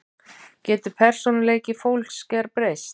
Getur persónuleiki fólks gerbreyst?